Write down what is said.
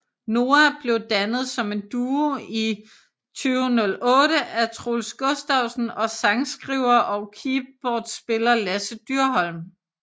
Noah blev dannet som en duo i 2008 af Troels Gustavsen og sangskriver og keyboardspiller Lasse Dyrholm